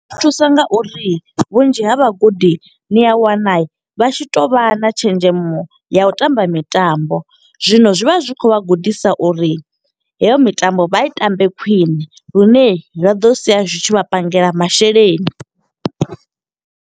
Zwi thusa nga uri vhunzhi ha vhagudi ni a wana vha tshi to vha na tshenzhemo ya u tamba mitambo. Zwino zwi vha zwi khou vha gudisa uri heyo mitambo, vha i tambe khwiṋe. Lune zwa ḓo sia zwi tshi vha pangela masheleni.